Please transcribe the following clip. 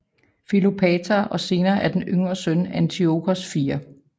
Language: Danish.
Filopator og senere af den yngre søn Antiochos 4